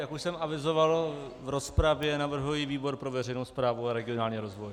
Jak už jsem avizoval v rozpravě, navrhuji výbor pro veřejnou správu a regionální rozvoj.